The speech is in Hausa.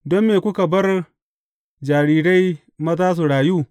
Don me kuka bar jarirai maza su rayu?